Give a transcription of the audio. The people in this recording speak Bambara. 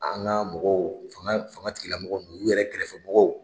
An ka mɔgɔw fanga fanga tigi lamɔgɔ ninnu o yɛrɛ kɛrɛfɛ mɔgɔw.